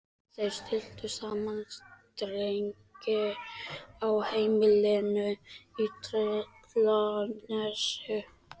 Þeir stilltu saman strengi á heimilinu í Tröllanesi.